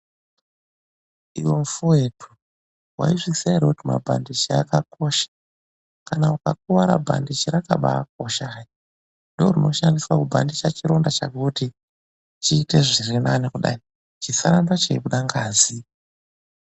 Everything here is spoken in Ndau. IWE MUFOWETU, MAIZVIZIWA HERE KUTI BANDIJI RAKAKOSHA KANA UKAKUWARA BANDIJI RAKABA KOSHA KUDAI NDORINOSHANDISA KUBANDIJA CHIRONDA CHAKO KUTI CHIITE ZVIRINANE KUDAI CHISARAMBE CHEIBUDA NGAZI